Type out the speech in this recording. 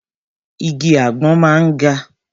Igi àgbọn máa ń ga.